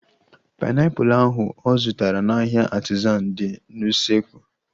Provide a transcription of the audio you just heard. Painiapulu ahu ọ zụtara n'ahia Artizan dị n'usekwu